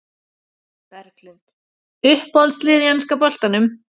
Berglind Uppáhalds lið í enska boltanum?